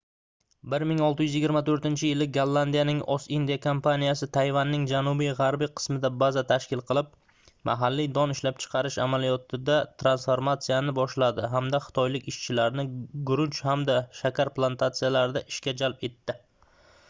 1624-yili gollandiyaning ost-indiya kompaniyasi tayvanning janubi-g'arbiy qismida baza tashkil qilib mahalliy don ishlab chiqarish amaliyotida transformatsiyani boshladi hamda xitoylik ishchilarni guruch hamda shakar plantatsiyalarida ishga jalb etdi